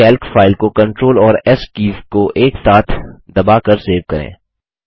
इस Calc file को CTRL और एस कीज़ को एक साथ दबाकर सेव करें